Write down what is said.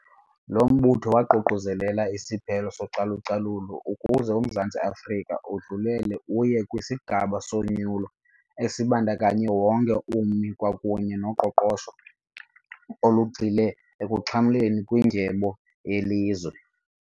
Lo mbutho waququzelela isiphelo socalucalulo ukuze uMzantsi Afrika udlulele uye kwisigaba sonyulo esibandakanye wonke ummi kwakunye noqoqosho olugxile ekuxhamleni kwindyebo yelizwe.